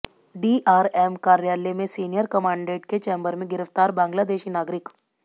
DRM कार्यालय में senior commandant के चैंबर में गिरफ्तार बांग्लादेशी नागरिक